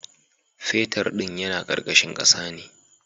Fetar ɗin yana karkashin kasa ne